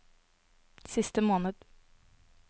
siste måned